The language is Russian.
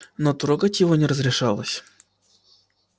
но трогать его не разрешалось